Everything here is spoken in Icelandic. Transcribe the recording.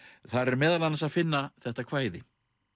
þar er meðal annars að finna þetta kvæði